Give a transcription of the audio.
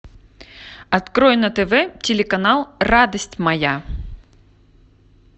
открой на тв телеканал радость моя